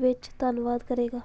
ਵਿੱਚ ਧੰਨਵਾਦ ਕਰੇਗਾ